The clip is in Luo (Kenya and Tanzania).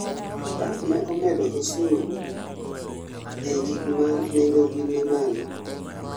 Tamp ne omendo osur ie gikma nengogi ni malo